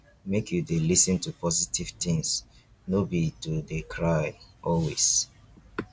make you dey lis ten to positive things no be to dey cry always.